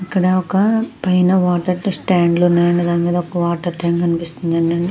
ఇక్కడ పైన ఒక వాటర్ స్టాండ్ వుంది. ఒక వాటర్ స్టాండ్స్ కూడా కనిపిస్తునై.